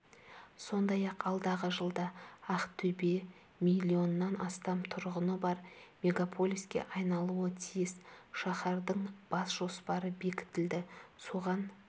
сондай-ақ алдағы жылда ақтөбе миллионнан астам тұрғыны бар мегаполиске айналуы тиіс шаһардың бас жоспары бекітілді соған